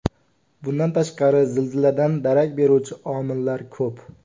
Bundan tashqari zilziladan darak beruvchi omillar ko‘p.